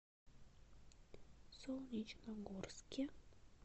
солнечногорске